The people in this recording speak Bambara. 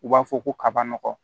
U b'a fɔ ko kaba nɔgɔ